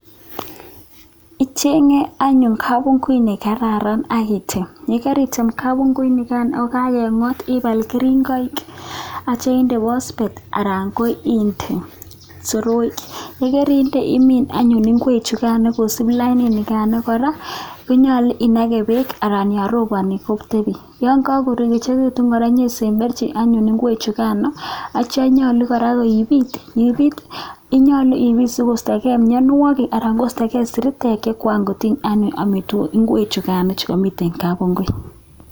Icheng anyun kapunguut ne kararan ak item, ye karitem kapunguut nikan ak kangengot ipaal keringoik atyo inde phosphate anan ko inde soroik, ye kerinde imiin anyuun ingwek chukan kosuup lainit nikan kora, konyolu inake beek anan yon roponi kotepi, yon kakoechekitun kora pesemberchi ingwechukano atyo nyolu kora peipit, konyolu ipiit sikoistokee mianwokik anan koistokee siritek che kokatiny anyun amitwokik ingwechukan chekamiten kapungui.